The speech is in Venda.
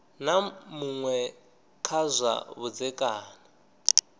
na muṅwe kha zwa vhudzekani